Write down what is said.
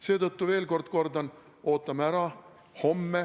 Seetõttu kordan veel: ootame ära.